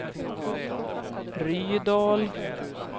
Rydal